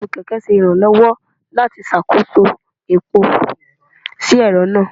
trotú kẹkẹ ṣe iranlọwọ lati ṣakoso epó si ẹrọ naa.